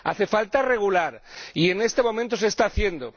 Hace falta regular y en estos momentos se está haciendo.